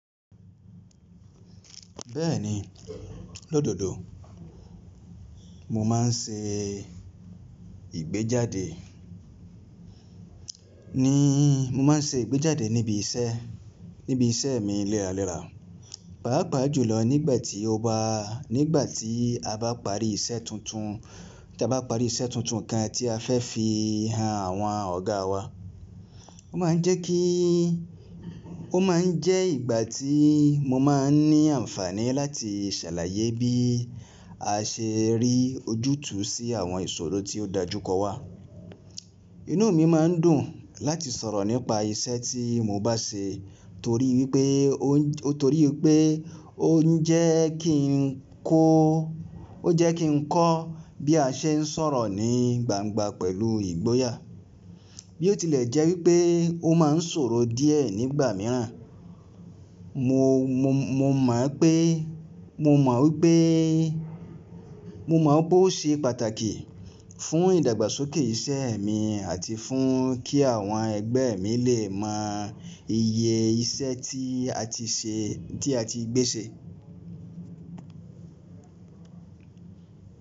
Bẹ́ẹ̀ni, lóòdòdó mo má n ṣe ìgbéjáde ní, mo má n ṣe ìgbéjáde níbi iṣẹ́, níbi iṣẹ́ mi léra léra. Páápàá jùlọ nígbà tí ó bá, nígbà tí a bá parí iṣẹ́ tuntun, tí a bá parí iṣẹ́ tuntun kan tí a fẹ́ fi hàn àwọn ọ̀gá wa. Ó má n jẹ́ kí, ó má n jẹ́ ìgbà tí mo má n ní àǹfààní láti ṣàlàyé bí a ṣe rí ojútùú sí àwọn ìṣòro tí ó dájú kọ wà. Inú mi má n dùn láti sọ̀rọ̀ nípa iṣẹ́ tí mo bá ṣe torí wípé ó n, torí pé ó n jẹ́ kí n kó, ó jẹ́ kí n kọ́ bí a ṣe n sọ̀rọ̀ ní gbangba pẹ̀lú ìgboyà. Bí ó tilẹ̀ jẹ́ wípé ó má n sòro díẹ̀ nígbà mìíràn, mo, mo, mo mọ̀ pé, mo mọ̀ wípé, mo mọ̀ ó ṣe pàtàkì fún ìdàgbàsókè iṣẹ́ mi àti fún kí àwọn ẹgbẹ́ mi lè mọ iye iṣẹ́ tí a ti ṣe, tí a ti gbé ṣe.